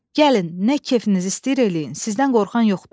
Gəlin, nə kefiniz istəyir eləyin, sizdən qorxan yoxdur.